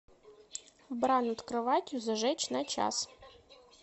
бра над кроватью зажечь на час